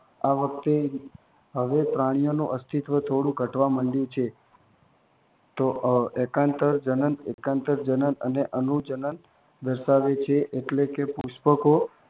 આ વખતે હવે પ્રાણીઓનું અસ્થિત્વ થોડું ઘટવા માંડ્યું છે. તો એકાંતરજનન અને અનુજનન દર્શાવે છે. એટલે કે, પુષ્પકો